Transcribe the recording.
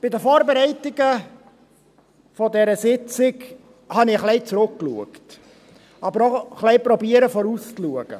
Bei den Vorbereitungen dieser Sitzung habe ich ein wenig zurückgeschaut, aber auch ein wenig versucht, vorauszuschauen.